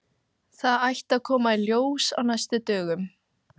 Þetta ætti að koma í ljós á næstu dögum.